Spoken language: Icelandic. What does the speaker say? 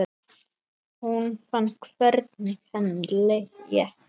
Hún fann hvernig henni létti.